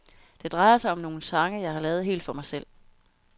Det drejer sig om nogle sange, jeg har lavet helt for mig selv.